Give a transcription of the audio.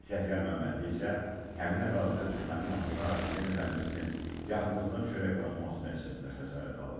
Səfyar Məmmədli isə həmin ərazidə düşmənin atdığı artilleriya mərmisinin yaxınlığına düşərək partlaması nəticəsində xəsarət alıb.